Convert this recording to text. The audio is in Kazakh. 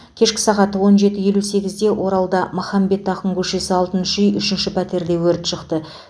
кешкі сағат он жеті елі сегізде оралда махамбет ақын көшесі алтыншы үй үшінші пәтерде өрт шықты